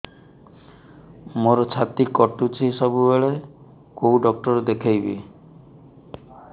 ମୋର ଛାତି କଟୁଛି ସବୁବେଳେ କୋଉ ଡକ୍ଟର ଦେଖେବି